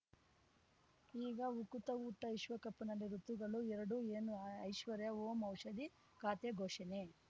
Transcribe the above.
ಈಗ ಉಕುತ ಊಟ ವಿಶ್ವಕಪ್‌ನಲ್ಲಿ ಋತುಗಳು ಎರಡು ಏನು ಐಶ್ವರ್ಯಾ ಓಂ ಔಷಧಿ ಖಾತೆ ಘೋಷಣೆ